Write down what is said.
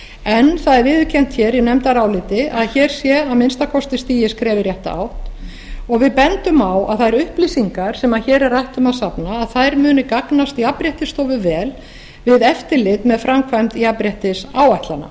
en það er viðurkennt hér í nefndaráliti að hér sé að minnsta kosti stigið skref í rétta átt og við bendum á að þær upplýsingar sem hér er rætt um að safna muni gagnast jafnréttisstofu vel við eftirlit með framkvæmd jafnréttisáætlana